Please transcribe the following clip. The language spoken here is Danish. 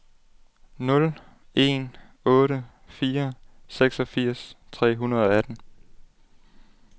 nul en otte fire seksogfirs tre hundrede og atten